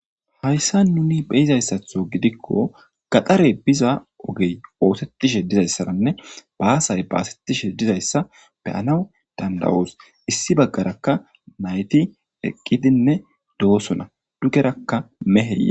hayssa nuni beyizayssatho gidikko gaxare biza ogey oosettishe dizayssaranne baasay baasettishe dizayssa beyanaw danda7oos issi baggarakka nayti eqqidinne doosona dugerakka mehe